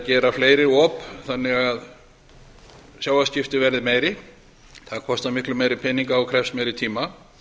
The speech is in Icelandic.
gera fleiri op þannig að sjávarskipti verði meiri það kostar miklu meiri peninga og krefst meiri tíma